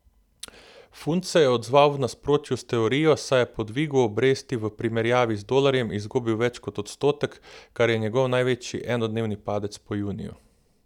Funt se je odzval v nasprotju s teorijo, saj je po dvigu obresti v primerjavi z dolarjem izgubil več kot odstotek, kar je njegov največji enodnevni padec po juniju.